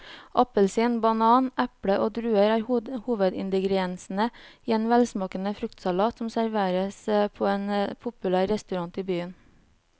Appelsin, banan, eple og druer er hovedingredienser i en velsmakende fruktsalat som serveres på en populær restaurant i byen.